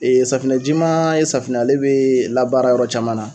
safinɛ jimaa ye safinɛ ale bee labaara yɔrɔ caman na